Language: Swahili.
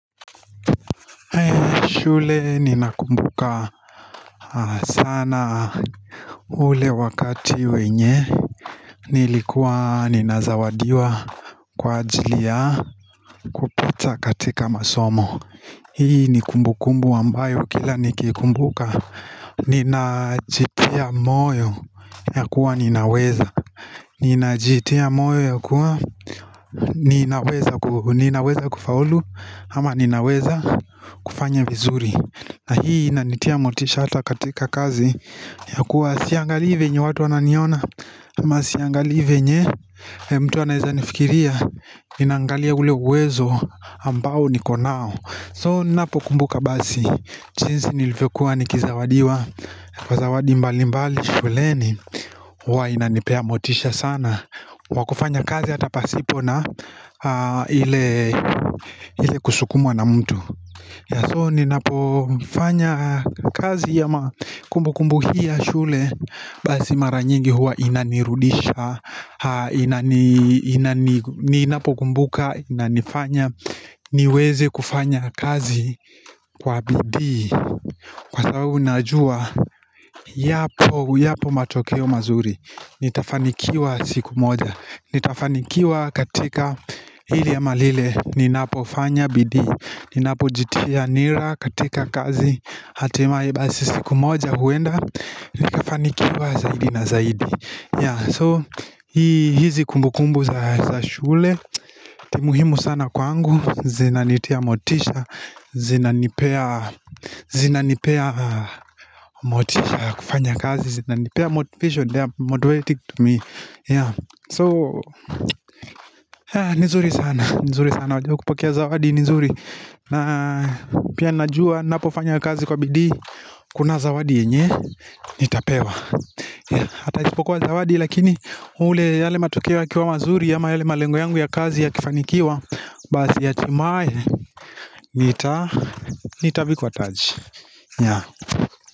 Shule ninakumbuka sana, ule wakati wenye Nilikuwa ninazawadiwa kwa ajili ya kupita katika masomo Hii ni kumbu kumbu ambayo kila nikiikumbuka Ninajitia moyo ya kuwa ninaweza Ninajitia moyo ya kuwa ninaweza kufaulu ama ninaweza kufanya vizuri. Na hii inanitia motisha hata katika kazi ya kuwa siangalii venye watu wananiona ama siangalii venye mtu anaweza nifikiria nina angalia ule uwezo ambao niko nao. So, ninapokumbuka basi jinsi nilivyokua nikizawadiwa kwa zawadi mbali mbali shuleni, huwa inanipea motisha sana, kwa kufanya kazi hata pasipo na ile ile kusukumwa na mtu. Ya so, ninapofanya kazi ama kumbu kumbu hii ya shule Basi mara nyingi huwa inanirudisha Ninapokumbuka, inanifanya niweze kufanya kazi kwa bidii Kwa sababu, najua yapo, yapo matokeo mazuri. Nitafanikiwa siku moja, nitafanikiwa katika hili ama lile ninapofanya bidii, ninapojitia nira katika kazi, hatimaye basi siku moja huenda Nikafanikiwa zaidi na zaidi. So, hizi kumbu kumbu za shule ni muhimu sana kwangu zinanitia motisha, zinanipea motisha ya kufanya kazi, zina nipea motivation So, ni nzuri sana, ni nzuri sana. Wakiwapokea zawadi ni nzuri, na pia najua ninapofanya kazi kwa bidii Kuna zawadi yenye nitapewa Hata isipokuwa zawadi, lakini ule, yale matokeo yakiwa mazuri, ama yale malengo yangu ya kazi yakifanikiwa Basi hatimaye nita, nitavikwa taji, nya.